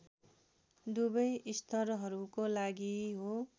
दुवै स्तरहरूको लागि हो